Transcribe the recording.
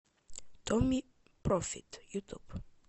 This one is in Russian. томми профит ютуб